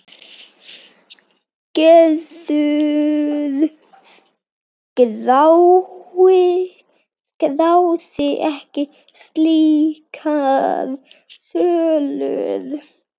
Gerður skráði ekki slíkar sölur.